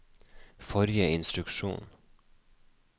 forrige instruksjon